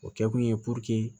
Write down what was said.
O kɛkun ye